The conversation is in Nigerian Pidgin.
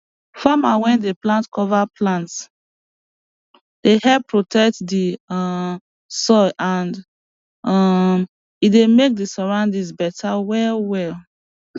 farmer wey dey plant cover plants dey help protect di um soil and um e dey make di surroundings beta well well